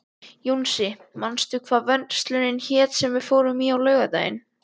Jónsi, manstu hvað verslunin hét sem við fórum í á laugardaginn?